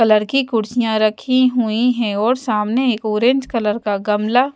colour की कुर्सियां रखी हुईं हैं और सामने एक ऑरेंज कलर का गमला--